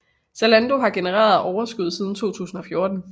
Zalando har genereret overskud siden 2014